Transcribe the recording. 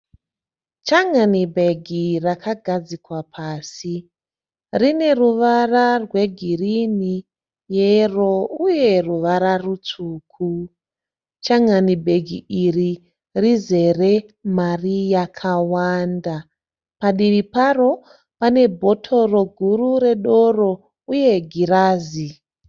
Changanibhegi rakagadzikwa pasi. Rine ruvara rwegirinhi, yero uye ruvara rutsvuku. Changanibhegi iri rizere mari yakawanda. Padivi paro pane bhotoro guru redoro uye girazi.